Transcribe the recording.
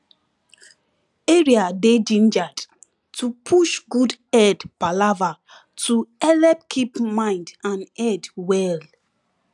area dey gingered to push good head palava to helep keep mind and head well